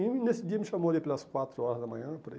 E nesse dia me chamou ali pelas quatro horas da manhã, por aí.